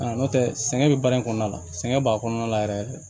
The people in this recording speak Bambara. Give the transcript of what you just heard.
N'o tɛ sɛgɛn bɛ baara in kɔnɔna la sɛgɛn b'a kɔnɔna la yɛrɛ